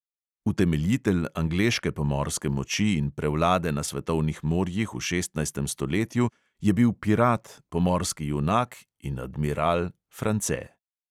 Utemeljitelj angleške pomorske moči in prevlade na svetovnih morjih v šestnajstem stoletju je bil pirat, pomorski junak in admiral france.